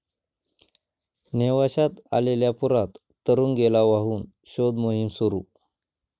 नेवाश्यात आलेल्या पुरात तरुण गेला वाहून, शोधमोहीम सुरू